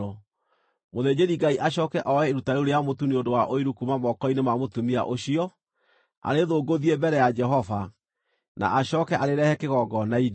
Mũthĩnjĩri-Ngai acooke oe iruta rĩu rĩa mũtu nĩ ũndũ wa ũiru kuuma moko-inĩ ma mũtumia ũcio, arĩthũngũthie mbere ya Jehova, na acooke arĩrehe kĩgongona-inĩ.